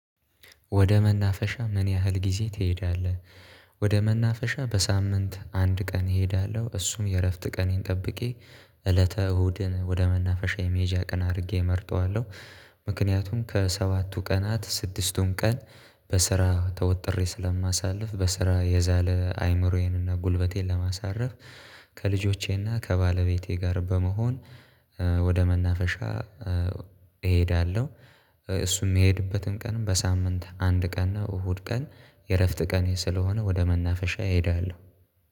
ወደ መናፈሻ ምን ያህል ጊዜ ትሄዳለህ? ወደ መናፈሻ በሳምንት አንድ ቀን እሄዳለሁ እሱም የእረፍት ቀኔን ጠብቄ እለተ እሁድን ወደ መናፈሻ የመሄጃ ቀን አድርጌ እመርጠዋለሁ። ምክንያቱም ከሰባቱ ቀናት ስድስቱን ቀን በስራ ተወጥሬ ስለማሳልፍ በስራ የዛለ አይምሮዬንና ጉልበቴን ለማሳረፍ። ከልጆቼና ከባለቤቴ ጋር በመሆን ወደ መናፈሻ እሄዳለሁ። እሱም የሚሄድበትን ቀን በሳምንት አንድ ቀን ነው። እሁድ ቀን የእረፍት ቀን ስለሆነ ወደ መናፈሻ እሄዳለሁ